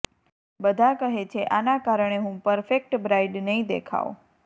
બધાં કહે છે આના કારણે હું પરફેકટ બ્રાઈડ નહીં દેખાઉ